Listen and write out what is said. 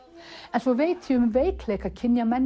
en svo veit ég um veikleika